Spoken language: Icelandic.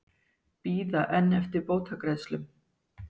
Bíða enn eftir bótagreiðslum